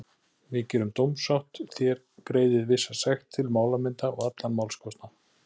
Við gerum dómssátt, þér greiðið vissa sekt til málamynda og allan málskostnað.